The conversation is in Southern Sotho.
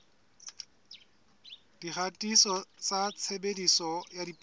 dikgatiso tsa tshebediso ya dipuo